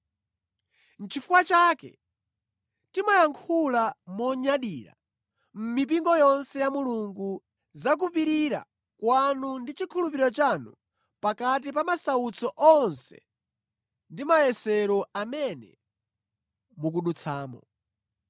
Nʼchifukwa chake, timayankhula monyadira mʼmipingo yonse ya Mulungu za kupirira kwanu ndi chikhulupiriro chanu pakati pa masautso onse ndi mayesero amene mukudutsamo.